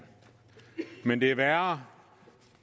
men det er værre